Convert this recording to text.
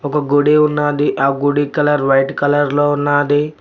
ఒక గుడి ఉన్నాది ఆ గుడి కలర్ వైట్ కలర్ లో ఉన్నాది.